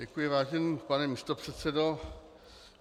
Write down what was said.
Děkuji, vážený pane místopředsedo.